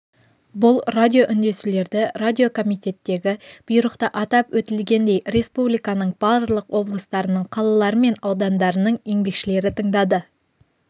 бұл радиоүндесулерді радиокомитеттегі бұйрықта атап өтілгендей республиканың барлық облыстарының қалалары мен аудандарының еңбекшілері тыңдады